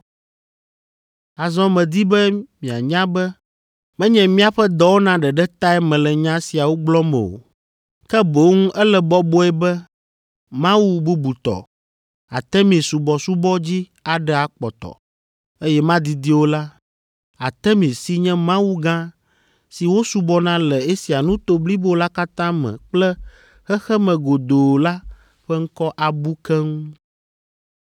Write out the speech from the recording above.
Azɔ medi be mianya be menye míaƒe dɔwɔna ɖeɖe tae mele nya siawo gblɔm o, ke boŋ ele bɔbɔe be mawu bubutɔ, Artemis subɔsubɔ dzi aɖe kpɔtɔ, eye madidi o la, Artemis si nye Mawu gã si wosubɔna le Asia nuto blibo la katã me kple xexeme godoo la ƒe ŋkɔ abu keŋ.”